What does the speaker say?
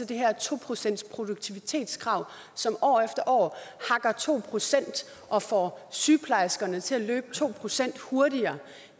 det her to procentsproduktivitetskrav som år efter år hakker to procent af og får sygeplejerskerne til at løbe to procent hurtigere